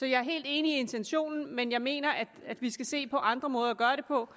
jeg er helt enig i intentionen men jeg mener at vi skal se på andre måder at gøre det på